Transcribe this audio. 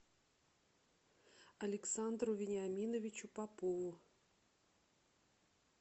александру вениаминовичу попову